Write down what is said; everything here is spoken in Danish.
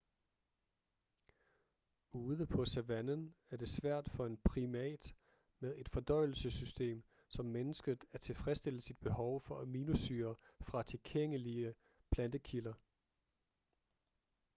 ude på savannen er det svært for en primat med et fordøjelsessystem som menneskets at tilfredsstille sit behov for aminosyrer fra tilgængelige plantekilder